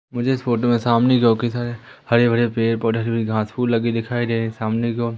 मुझे इस फोटो में सामने जो की सारे हरे भरे पेड़ पौधा सारी घासफुस लगी दिखाई दे रहीं हैं सामने की ओर--